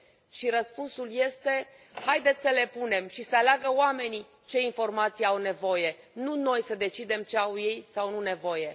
Și răspunsul este haideți să le punem și să aleagă oamenii de ce informații au nevoie, nu noi să decidem de ce au ei sau nu nevoie!